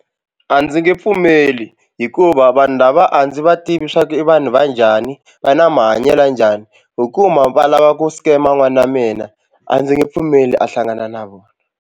A ndzi nge pfumeli hikuva vanhu lava a ndzi va tivi swa ku i vanhu va njhani va na mahanyelo ya njhani ho kuma va lava ku scam-a n'wana wa mina a ndzi nge pfumeli a hlangana na vona.